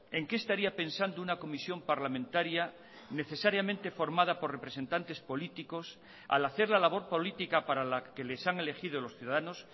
en qué estaría pensando una comisión parlamentaria necesariamente formada por representantes políticos al hacer la labor política para la que les han elegido los ciudadanos